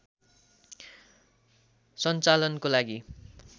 सञ्चालनको लागि